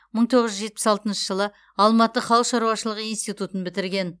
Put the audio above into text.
мың тоғыз жүз жетпіс алтыншы жылы алматы халық шаруашылығы институтын бітірген